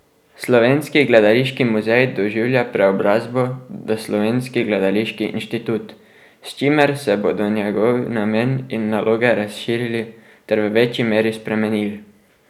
Slovenski gledališki muzej doživlja preobrazbo v Slovenski gledališki inštitut, s čimer se bodo njegov namen in naloge razširili ter v večji meri spremenili.